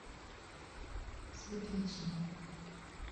светличной